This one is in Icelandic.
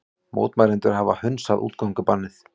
Mótmælendur hafa hunsað útgöngubannið